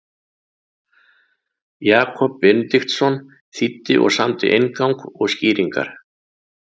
Jakob Benediktsson þýddi og samdi inngang og skýringar.